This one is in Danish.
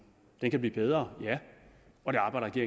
den kan blive bedre og det arbejder